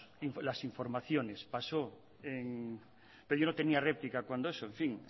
las informaciones pero yo no tenía réplica cuando eso en fin